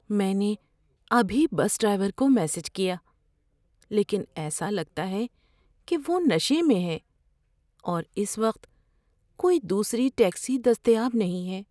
میں نے ابھی بس ڈرائیور کو میسج کیا لیکن ایسا لگتا ہے کہ وہ نشے میں ہے اور اس وقت کوئی دوسری ٹیکسی دستیاب نہیں ہے۔